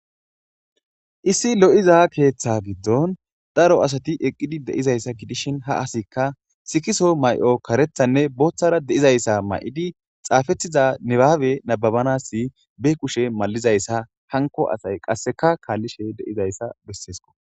issi lo7iza keeththa giddon daro asati eqqidi deizayssa kidishin ha asikka sikiso may7o karethanne booththara de7izayssa ma7idi xaafetiza nibaawe nababanasi be kushe malizayssa hanko asay qasseka kaallishe de7izayssa besseesko